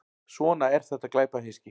Svona er þetta glæpahyski.